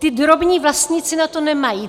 Ti drobní vlastníci na to nemají.